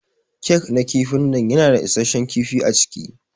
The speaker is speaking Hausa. Kek na kifin nan yana da issashen kifi aciki.